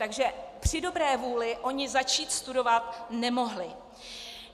Takže při dobré vůli oni začít studovat nemohli.